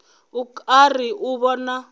o ka re o bona